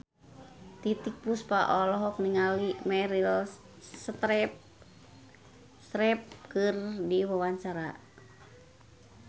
Titiek Puspa olohok ningali Meryl Streep keur diwawancara